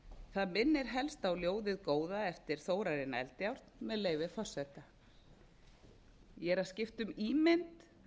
það minnir helst á ljóðið góða eftir þórarinn eldjárn með leyfi forseta ég er að skipta um ímynd